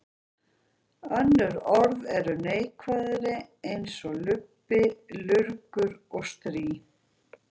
Önnur orð eru neikvæðari eins og lubbi, lurgur og strý.